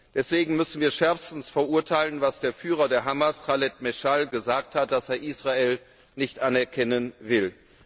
Deswegen müssen wir schärfstens verurteilen, dass der Führer der Hamas, Chalid Maschal, gesagt hat, dass er Israel nicht anerkennen will.